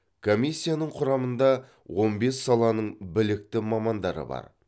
комиссияның құрамында он бес саланың білікті мамандары бар